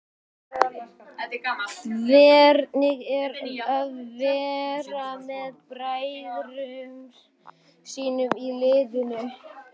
Hvernig er að vera með bræðrum sínum í liðinu?